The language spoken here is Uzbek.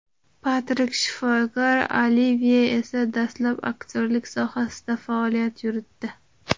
Patrik shifokor, Olivye esa dastlab aktyorlik sohasida faoliyat yuritdi.